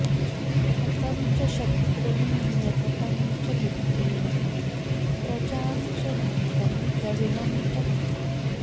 हतं च शत्रून्यततं च मित्रिणः प्रजां च धत्तं द्रविणं च धत्तम्